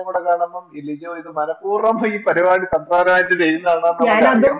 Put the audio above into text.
കാണുമ്പോൾ ഈ ലിജോ ഇത് മനപ്പൂർവ്വം ഈ പരിപാടി സംസാരമായിട്ട് ചെയ്യുന്നതാണ്